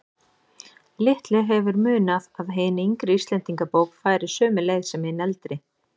Litlu hefur munað að hin yngri Íslendingabók færi sömu leið sem hin eldri.